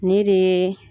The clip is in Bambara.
Ne de ye